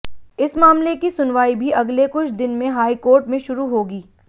इस मामले की सुनवाई भी अगले कुछ दिन में हाई कोर्ट में शुरू होगी